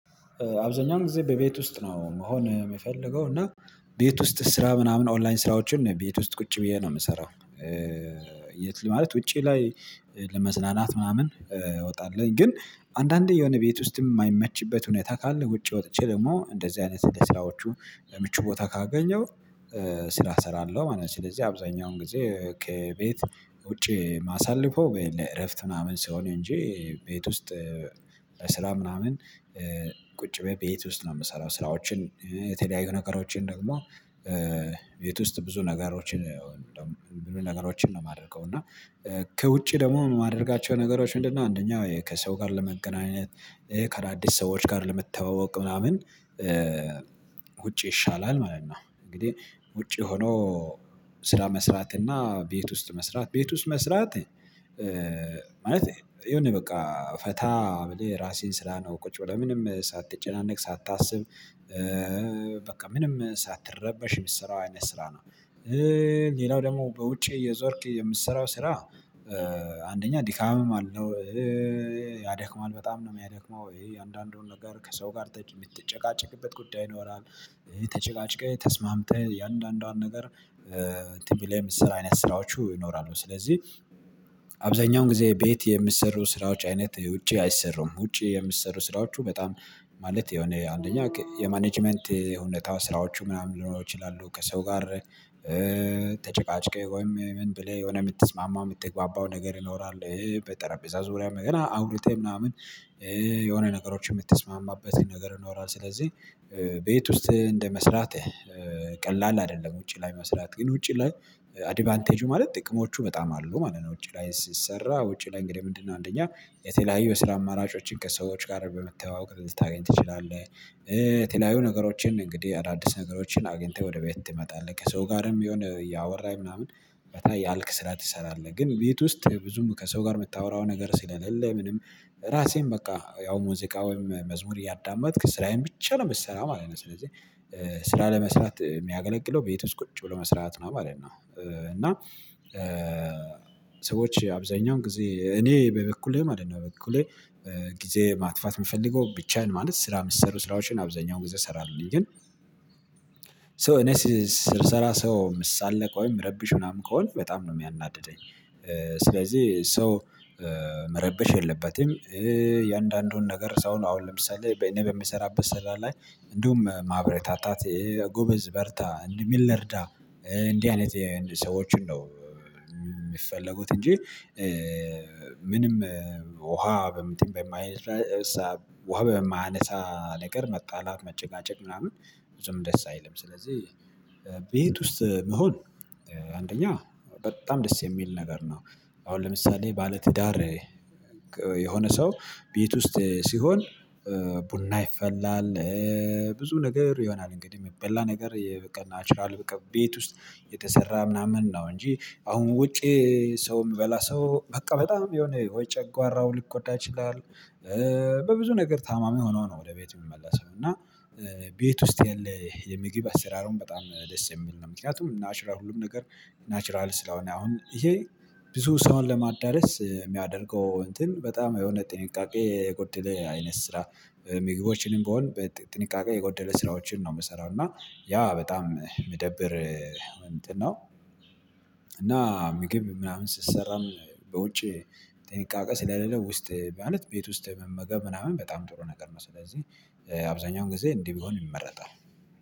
አብዛኛውን ጊዜ በቤት ውስጥ ነው መሆን የምፈልገው እና ቤት ውስጥ ስራ ምናምን ኦንላይን ስራዎችን ቤት ውስጥ ቁጭ ብዬ ነው የምሰራው። የት ማለት ውጪ ላይ ለመዝናናት ምናምን እወጣለሁ ግን አንዳንዴ የሆነ ቤት ውስጥም የማይመችበት ሁኔታ ካለ ውጪ ወጥቼ ደግሞ እንደዚህ አይነት እንደዚህ ስራዎቹ ምቹ ቦታ ካገኘው ስራ እሰራለሁ። ማለት ስለዚህ አብዛኛውን ጊዜ ከቤት ውጪ ማሳልፈው ለእረፍት ምናምን ሲሆን እንጂ ቤት ውስጥ ለስራ ምናምን ቁጭ ብየ ቤቶ ውስጥ ነው የምሰራው ስራዎችን የተለያዩ ነገሮችን ደግሞ ቤት ውስጥ ብዙ ነገሮችን ነው የማደርገው እና ከውጪ ደግሞ የማደርጋቸው ነገሮች ምንድን ነው አንደኛ ከሰው ጋር ለመገናኘት ከአዳዲስ ሰዎች ጋር ለመተዋወቅ ምናምን ውጪ ይሻላል ማለት ነው። እንግዲህ ውጪ ሆኖ ስራ መስራት እና ቤት ውስጥ መስራት ቤት ውስጥ መስራት ማለት የሆነ በቃ ፈታ ብለህ የራስህን ስራ ነው ቁጭ ብለህ ምንም ሳትጨናነቅ ሳታስብ በቃ ምንም ሳትረበሽ የምሰራው አይነት ስራ ነው። ሌላው ደግሞ በውጭ እየዞርክ የምትሰራው ስራ አንደኛ ዲካምም አለው ያደክማል በጣም ነው የሚያደክመው የአንዳንዱን ነገር ከሰው ጋር የምትጨቃጭቅበት ጉዳይ ይኖራል የተጨቃጭቀህ ተስማምተህ የአንዳንዷን ነገር እንትን ቢለህ ምሰራው አይነት ስራዎቹ ይኖራሉ። ስለዚህ አብዛኛውን ጊዜ ቤት የምሰሩ ስራዎች አይነት ውጪ አይሰሩም ውጪ የሚሰሩ ስራዎቹ በጣም ማለት የሆነ አንደኛ የማኔጅመንት የሁኔታው ስራዎቹ ምናምን ሊሆኑ ይችላሉ። ከሰው ጋር ተጨቃጭቄ ወይም ምን ብለህ የምትስማማው የምትግባባው ነገር ይኖራል በጠረጴዛ ዙሪያም ገና አውርተህ ምናምን የሆነ ነገሮች የምትስማማበትን ነገር ይኖራል። ስለዚህ ቤት ውስጥ እንደመስራት ቀላል አይደለም ውጪ ላይ መስራት ግን ውጪ ላይ አድቫንቴጁ ማለት ጥቅሞቹ በጣም አሉ ማለት ነው። ውጪ ላይ ሲሰራ ውጪ ላይ እንግዲህ ምንድነው አንደኛ የተለያዩ የስራ አማራጮችን ከሰዎች ጋር በመተዋወቅ ልታገኝ ትችላለህ። የተለያዩ ነገሮችን እንግዲህ አዳዲስ ነገሮችን አግኝተህ ወደ ቤት ትመጣለህ ከሰው ጋርም የሚሆን እያወራህ ምናምን ፈታ እያልክ ስራ ትሰራለህ። ግን ቤት ውስጥ ብዙም ከሰው ጋር የምታወራው ነገር ስላሌለ ምንም ራሴን በቃ ያው ሙዚቃ ወይም መዝሙር እያዳመጥክ ስራዬን ብቻ ነው የምትሰራው ማለት ነው። ስለዚህ ስራ ለመስራት የሚያገለግለው ቤት ውስጥ ቁጭ ብሎ መስራት ነው ማለት ነው። እና ሰዎች አብዛኛውን ጊዜ እኔ በበኩሌ ማለት ነው በኩሌ ጊዜ ማጥፋት የምፈልገው ብቻዬን ማለት ስራ የምትሰሩ ስራዎችን አብዛኛው ጊዜ እሰራለሁኝ ግን ሶ እኔ ስር ስራ ሰው ምሳለቅ ወይም ረብሽ ምናምን ከሆነ በጣም ነው የሚያናድደኝ። ስለዚህ ሰው መረብሽ የለበትም የእያንዳንዱን ነገር ሰው ነው አሁን ለምሳሌ በኔ በምሰራበት ስራ ላይ እንዲሁም ማበረታታት ጎበዝ በርታ እንደሚል ልርዳ እንዲህ አይነት ሰዎችን ነው የሚፈለጉት እንጂ ምንም ውሃ በምትል የማይረሳ ውሃ በማያነሳ ነገር መጣላት መጨቃጨቅ ምናምን ብዙም ደስ አይልም። ስለዚህ ቤት ውስጥ መሆን አንደኛ በጣም ደስ የሚል ነገር ነው። አሁን ለምሳሌ ባለ ትዳር የሆነ ሰው ቤት ውስጥ ሲሆን ቡና ይፈላል ብዙ ነገር ይሆናል እንግዲህ የሚበላ ነገር የበቀ ናቹራል በቃ ቤት ውስጥ የተሰራ ምናምን ነው እንጂ አሁን ውጪ ሰው የምበላ ሰው በቃ በጣም የሆነ ወይ ጨጓራው ሊጎዳ ይችላል። በብዙ ነገር ታማሚ ሆኖ ነው ወደ ቤቱ የሚመለሰው እና ቤት ውስጥ ያለ የምግብ አሰራሩም በጣም ደስ የሚል ነው። ምክንያቱም ናቹራል ሁሉም ነገር ናቹራል ስለሆነ አሁን ይሄ ብዙ ሰውን ለማዳረስ የሚያደርገው እንትን በጣም የሆነ ጥንቃቄ የጎደለ አይነት ስራ ምግቦችንም ብሆን በጥንቃቄ የጎደለ ስራዎችን ነው የምሰራው እና ያ በጣም ምደብር እንትን ነው። እና ምግብ ምናምን ስትሰራም በውጪ ጥንቃቄ ስለሌለው ውስጥ ማለት ቤት ውስጥ መመገብ ምናምን በጣም ጥሩ ነገር ነው። ስለዚህ አብዛኛውን ጊዜ እንዲህ ብሆን ይመረጣል